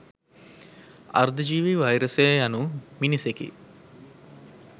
අර්ධ ජීවී වෛරසය යනු මිනිසෙකි.